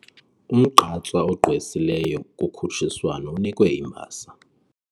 Umgqatswa ogqwesileyo kukhutshiswano unikwe imbasa.